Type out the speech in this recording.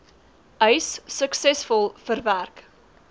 eis suksesvol verwerk